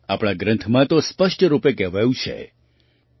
આપણા ગ્રંથમાં તો સ્પષ્ટ રૂપે કહેવાયું છે કે